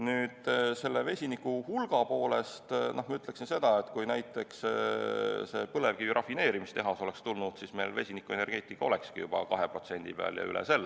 Nüüd, vesiniku hulga kohta ma ütleksin seda, et kui näiteks põlevkiviõli rafineerimistehas oleks tulnud, siis vesinikuenergeetika olekski meil juba 2% peal ja üle selle.